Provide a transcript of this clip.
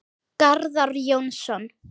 Garðar Jónsson